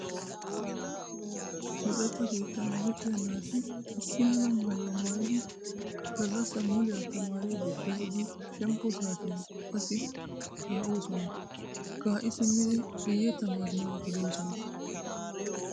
Luxetta keettan luxiyaa naati issi mala maayuwa maayidi gallassaa muliya tamaariiddi pee"idi shemppo saatiyaan qassi kaa'oosona. Kaa"i simmidi guyye tamaaranawu geloosona.